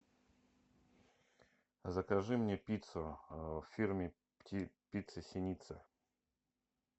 закажи мне пиццу в фирме пицца синица